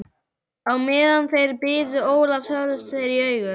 Á meðan þeir biðu Ólafs horfðust þeir í augu.